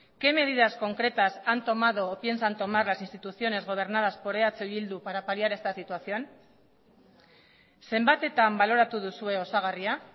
qué medidas concretas han tomado o piensan tomar las instituciones gobernadas por eh bildu para paliar esta situación zenbatetan baloratu duzue osagarria